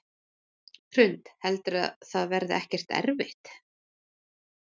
Hrund: Heldurðu að það verði ekkert erfitt?